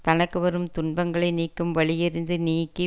தனக்கு வரும் துன்பங்களை நீக்கும் வழியறிந்து நீக்கி